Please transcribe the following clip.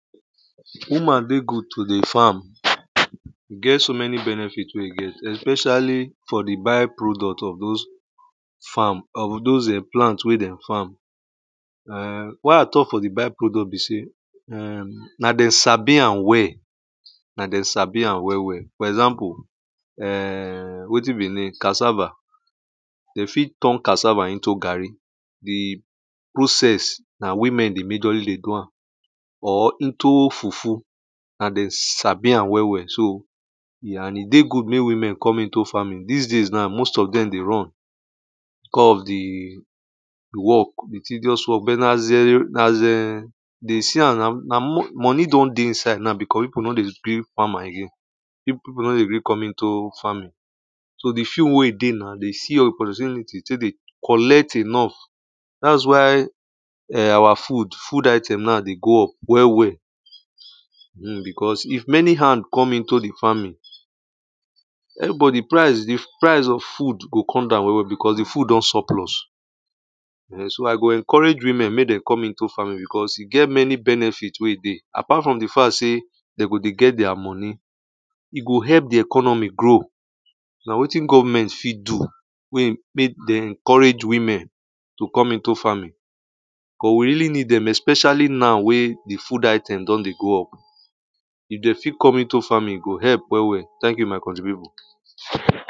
̀ woman dey good to dey farm e get so many benefit we e ge especilly for di by-product of those farm of those plant wey dem farm why i talk for di by-product be say na dem sabi am well, na dem sabi am well well for example ehm wetin be e name cassava, de fit turn cassaa into garri, di process na women dey majorly dey do am. or into fufu and dem sabi am well well so and e dey good mek women come into farming dis days now most of dem dey run becous of di work di tideous work but na as u dey see am now money don dey inside now becous pipu no dey gree farm am again pipu no dey gree come into farming so di few wen e dey now, den see now we opurtunity de o collect enough, at why our food food item is going well well because if many hand come into the farming. everybody price of food go come down well well because di food don supplus so i go encourage women mek dem come into farming because e get many benefit wen e dey.apart from di fact sey de go dey beg a translator is not e go help di economy grow. na wetin government fit do na mek den encourage women to come into farming but we really ned dem oh especially now we di food iteams don dey go up. if dem fit come into farming, e go help well well. thank you my country pipu.d